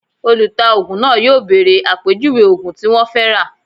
Olùtaògùn náà yóò bèrè àpèjúwe ògùn tí wọ́n fẹ́ rà